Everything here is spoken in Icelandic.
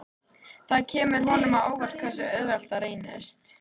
Það kemur honum á óvart hversu auðvelt það reynist.